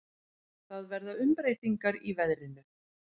Það verða umbreytingar í veðrinu.